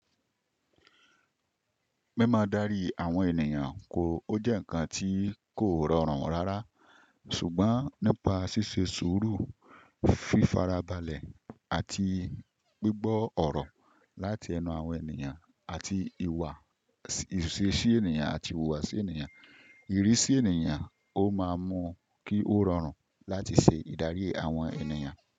Mímọ́ darií àwọn ènìyàn kò, ó jẹ́ ǹkan tí kò rọrùn rárá, ṣùgbọ́n nípa ṣíṣe sùúrù, fífara balẹ̀ àti gbígbọ́ ọ̀rọ̀ láti ẹnu àwọn ènìyàn àti ìwà ìṣe-sí ènìyàn àti ìwùwàsí ènìyàn, ìrísí ènìyàn ó máa muú kí ó rọrùn láti ṣe ìdarí àwọn ènìyàn.